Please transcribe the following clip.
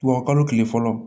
Wa kalo tile fɔlɔ